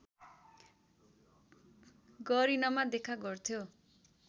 गरिनमा देखा गर्थ्यो